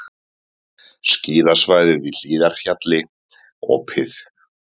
Skíðasvæðið í Hlíðarfjalli opið